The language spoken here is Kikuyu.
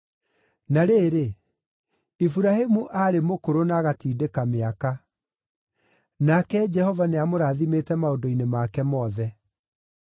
Na rĩrĩ, Iburahĩmu aarĩ mũkũrũ na agatindĩka mĩaka. Nake Jehova nĩamũrathimĩte maũndũ-inĩ make mothe.